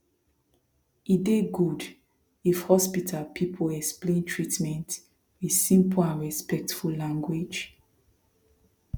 e dey good if hospital people explain treatment with simple and respectful language